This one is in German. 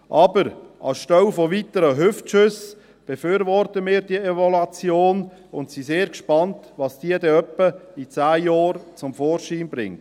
Aber anstelle von weiteren Hüftschüssen befürworten wir diese Evaluation und sind sehr gespannt, was diese dann in etwa zehn Jahren zum Vorschein bringt.